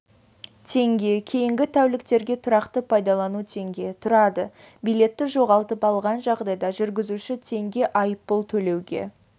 теңге кейінгі тәуліктерге тұрақты пайдалану теңге тұрады билетті жоғалтып алған жағдайда жүргізуші теңге айыппұл төлеуге